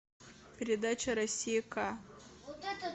передача россия к